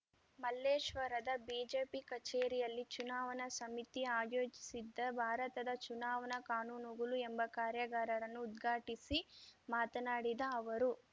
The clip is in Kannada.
ಮಲ್ಲೇಶ್ವರದ ಬಿಜೆಪಿ ಕಛೇರಿಯಲ್ಲಿ ಚುನಾವಣಾ ಸಮಿತಿ ಆಯೋಜಿಸಿದ್ದ ಭಾರತದ ಚುನಾವಣಾ ಕಾನೂನುಗಳು ಎಂಬ ಕಾರ್ಯಾಗಾರರನ್ನು ಉದ್ಘಾಟಿಸಿ ಮಾತನಾಡಿದ ಅವರು